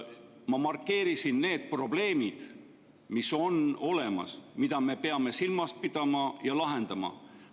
Ma markeerisin need probleemid, mis on olemas, mida me peame silmas pidama ja lahendama.